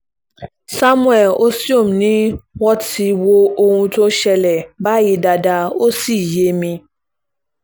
samuel osteom ni mo ti wo ohun tó ń ṣẹlẹ̀ báyìí dáadáa ó sì yé mi